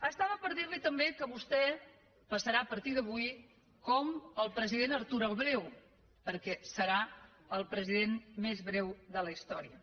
estava per dir li també que vostè passarà a partir d’avui com el president artur el breu perquè serà el president més breu de la història